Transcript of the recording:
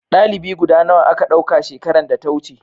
dalibi guda nawa a Ka dauka shekaran da ta wuce